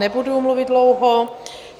Nebudu mluvit dlouho.